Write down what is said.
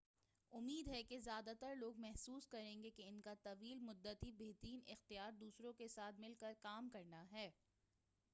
امید ہے کہ زیادہ تر لوگ محسوس کریں گے کہ ان کا طویل مدتی بہترین اختیار دوسروں کے ساتھ مل کر کام کرنا ہے